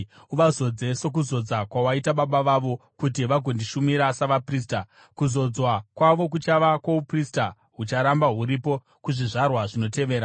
Uvazodze sokuzodza kwawaita baba vavo, kuti vagondishumira savaprista. Kuzodzwa kwavo kuchava kwouprista hucharamba huripo kuzvizvarwa zvinotevera.”